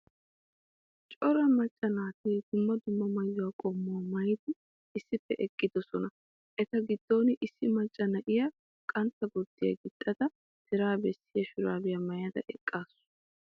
Cora macca naati dumma dumma maayo qommuwa maayidi issippe eqqidosona. Eta giddon issi macca na'iya qantta gurddiya gixxadat tira bessiya shuraabiya maayada eqqaasu.